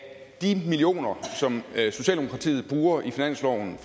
de millioner som socialdemokratiet i finansloven